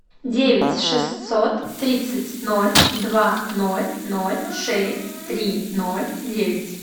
девять шестьсот тридцать ноль два ноль ноль шесть три ноль девять